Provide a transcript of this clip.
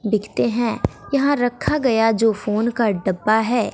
बिकते हैं यहां रखा गया जो फोन का डब्बा है।